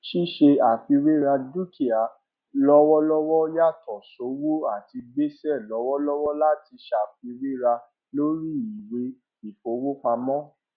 ṣíṣe àfihàn dúkìá lọwọlọwọ yàtọ sówó àti gbèsè lọwọlọwọ láti ṣàfiwéra lórí ìwé ìfowópamọ